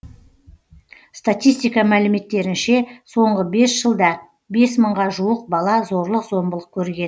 статистика мәліметтерінше соңғы бес жылда бес мыңға жуық бала зорлық зомбылық көрген